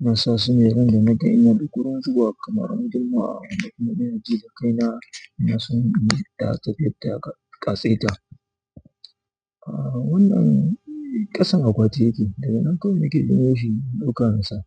Ina sa su randa naga ina da gurin zuwa kamar ran juma'a wanda kuma ina ji da kai na. Ina son in yi da tafiyar da ka saita. A wannan ƙasan akwati yake, daga nan kawai nike ɗauko shi in ɗauka insa.